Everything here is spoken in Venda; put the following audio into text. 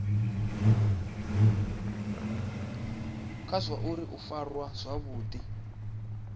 kha zwauri u farwa zwavhudi